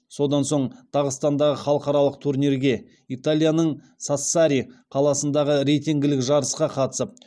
содан соң дағыстандағы халықаралық турнирге италияның сассари қаласындағы рейтингілік жарысқа қатысып